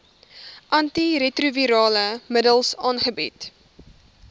antiretrovirale middels aangebied